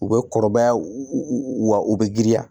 U bɛ kɔrɔbaya wa u bɛ girinya